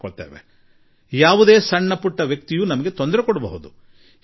ಯಾರೋ ಅಲ್ಲೊಬ್ಬ ಇಲ್ಲೊಬ್ಬ ಚಿಕ್ಕಪುಟ್ಟ ವ್ಯಕ್ತಿಗಳು ನಮಗೆ ತೊಂದರೆ ಮಾಡಬಹುದು